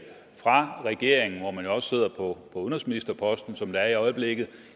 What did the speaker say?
fra regeringen hvor man jo også sidder på udenrigsministerposten som det er i øjeblikket